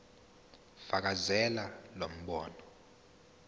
fakazela lo mbono